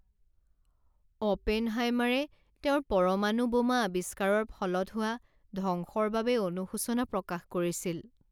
অপেনহাইমাৰে তেওঁৰ পৰমাণু বোমা আৱিষ্কাৰৰ ফলত হোৱা ধ্বংসৰ বাবে অনুশোচনা প্ৰকাশ কৰিছিল।